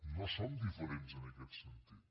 no som diferents en aquest sentit